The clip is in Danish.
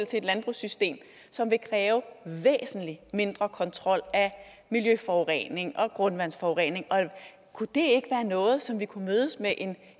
til et landbrugssystem som vil kræve en væsentlig mindre kontrol af miljøforurening og grundvandsforurening kunne det noget som vi kunne mødes med en